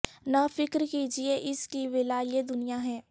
نہ فکر کیجئے اس کی ولاء یہ دنیا ہے